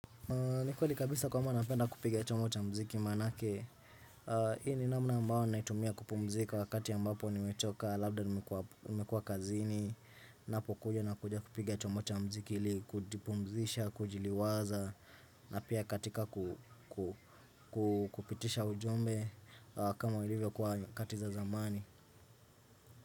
Nikweli kabisa kwamba napenda kupiga chombo cha mziki manake Hii ni namna ambao naitumia kupumzika wakati ambapo nimechoka Labda nimekua kazini Napo kuja na kuja kupiga chombo cha mziki li kujipumzisha, kujiliwaza na pia katika kupitisha ujumbe kama ulivyo kwa katiza zamani.